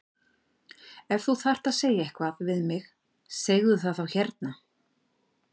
Ef þú þarft að segja eitthvað við mig segðu það þá hérna!